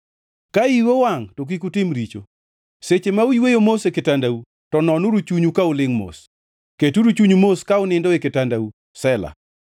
Ka iu owangʼ to kik utim richo; seche ma uyweyo mos e kitandau, to nonuru chunyu ka ulingʼ mos, keturu chunyu mos ka unindo e kitandau. Sela